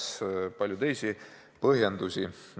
Ja leidub veel palju teisi põhjendusi.